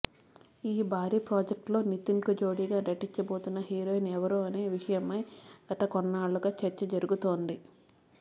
ఈ భారీ ప్రాజెక్ట్లో నితిన్కు జోడీగా నటించబోతున్న హీరోయిన్ ఎవరు అనే విషయమై గత కొన్నాళ్లుగా చర్చ జరుగుతోంది